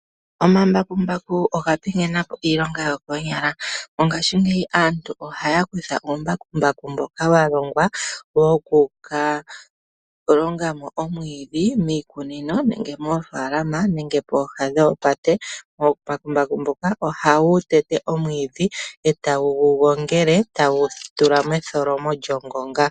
Omambakumbaku oga pingenapo iilongo yokoonyala. Mongashingeyi aantu ohaya kutha oombakumbaku mboka walongwa wo kuka longamo omwiidhi miikunino nenge moofaalama nenge pooha dhoopate. Oombakumbaku mboka ohawu tete omwiidhi etawu gu gongele etawu gu tula methomo lyongonga.